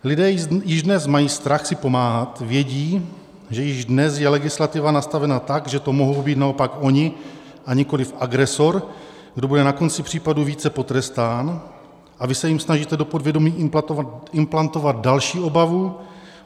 Lidé již dnes mají strach si pomáhat, vědí, že již dnes je legislativa nastavena tak, že to mohou být naopak oni, a nikoliv agresor, kdo bude na konci případu více potrestán, a vy se jim snažíte do povědomí implantovat další obavu.